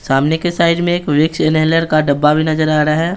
सामने के साइड में एक विक्स इनहेलर का डब्बा भी नजर आ रहा है।